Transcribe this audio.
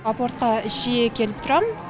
апортқа жиі келіп тұрамын